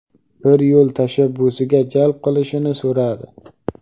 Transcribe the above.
bir yo‘l tashabbusiga jalb qilishini so‘radi.